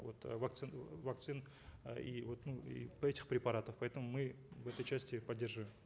вот э вакцин вакцин э и вот и этих препаратов поэтому мы в этой части поддерживаем